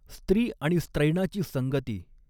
स्त्री आणि स्त्रैणाची संगती।